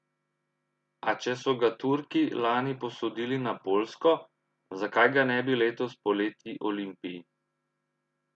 A če so ga Turki lani posodili na Poljsko, zakaj ga ne bi letos poleti Olimpiji?